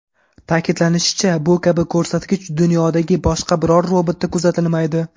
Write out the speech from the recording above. Ta’kidlanishicha, bu kabi ko‘rsatkich dunyodagi boshqa biror robotda kuzatilmaydi.